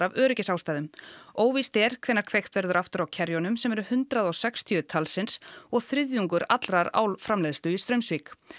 af öryggisástæðum óvíst er hvenær kveikt verður aftur á sem eru hundrað og sextíu talsins og þriðjungur allrar álframleiðslu í Straumsvík